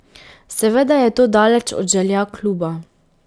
Seveda je to daleč od želja kluba.